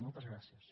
moltes gràcies